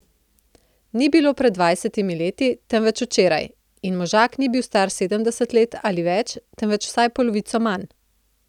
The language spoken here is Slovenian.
Ni bilo pred dvajsetimi leti, temveč včeraj, in možak ni bil star sedemdeset let ali več, temveč vsaj polovico manj.